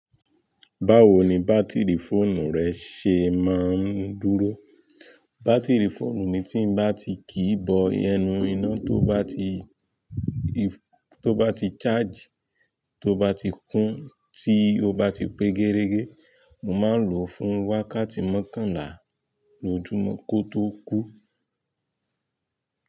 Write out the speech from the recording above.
Báwo ni bátìrì fóònù rẹ ṣe máa ń dúró? Bátìrì fóònù mi tí bá ti kì i bọ ẹnu iná, tó bá ti charge, tó bá ti kún, tí ó bá ti pé géregé, mo máa ń lò ó fún wákàtí mọ́kànlá lójúmọ́ kó tó kú.